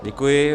Děkuji.